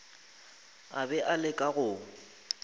a be a leka go